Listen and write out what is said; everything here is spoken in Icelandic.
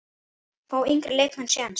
Fá yngri leikmenn séns?